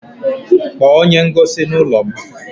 Kpọọ onye ngosi n'ụlọ m!